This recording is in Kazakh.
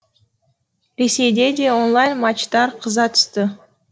ресейде де онлайн матчтар қыза түсті